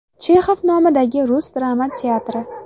Chexov nomidagi rus drama teatri.